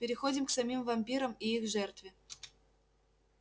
переходим к самим вампирам и их жертве